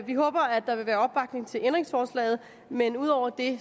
vi håber at der vil være opbakning til ændringsforslaget men ud over det